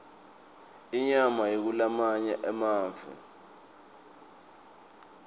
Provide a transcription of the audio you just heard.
inyama kulamanye emave